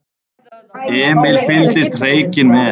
Emil fylgdist hreykinn með.